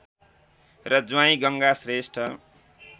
र ज्वाइँ गङ्गा श्रेष्ठ